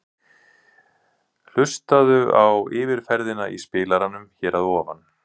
Hlustaðu á yfirferðina í spilaranum hér að ofan.